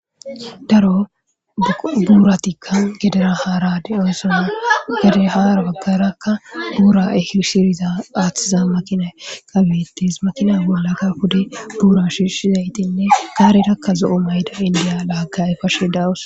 daro buuratikka gedera haara de'oosana gede haara baggarakka guura e shiriza aaththiza makina kabetes makina wolakka hudi buura shishi zaytinne gaarirakka zo7o mayda indiya laakayay fashe dawus